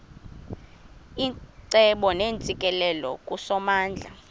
icebo neentsikelelo kusomandla